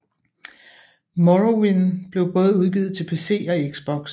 Morrowind blev både udgivet til PC og Xbox